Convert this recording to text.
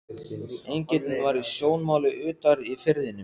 Engillinn var í sjónmáli utar í firðinum.